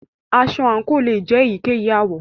Aṣọ àǹkò lè jẹ èyíkéyìí àwọ̀.